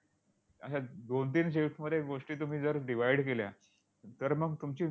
अश्या दोन-तीन shifts मध्ये गोष्टी तुम्ही जर divide केल्या, तर मग तुमची